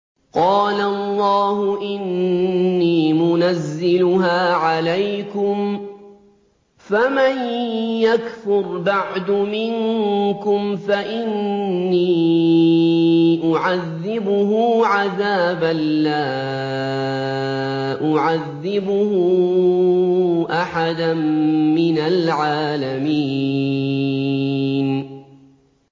قَالَ اللَّهُ إِنِّي مُنَزِّلُهَا عَلَيْكُمْ ۖ فَمَن يَكْفُرْ بَعْدُ مِنكُمْ فَإِنِّي أُعَذِّبُهُ عَذَابًا لَّا أُعَذِّبُهُ أَحَدًا مِّنَ الْعَالَمِينَ